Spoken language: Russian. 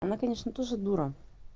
она конечно тоже дура